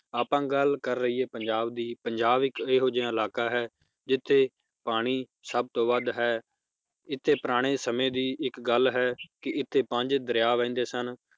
ਆਪਾਂ ਗੱਲ ਕਰ ਲਇਏ ਪੰਜਾਬ ਦੀ ਪੰਜਾਬ ਇੱਕ ਇਹੋ ਜੇਹਾ ਇਲਾਕਾ ਹੈ ਜਿਥੇ ਪਾਣੀ ਸਭ ਤੋਂ ਵੱਧ ਹੈ ਏਥ੍ਹੇ ਪੁਰਾਣੇ ਸਮੇ ਦੀ ਇੱਕ ਗੱਲ ਹੈ, ਕਿ ਇਥੇ ਪੰਜ ਦਰਿਆ ਬਹਿੰਦੇ ਸਨ